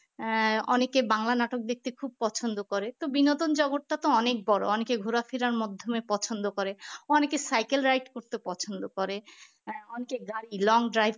আহ অনেকে বাংলা নাটক দেখতে খুব পছন্দ করে তো বিনোদন জগৎটা তো অনেক বড় অনেকে ঘুরায় ফিরার মাধ্যমে পছন্দ করে অনেকে cycle ride করতে পছন্দ করে আহ অনেকে গাড়ি long drive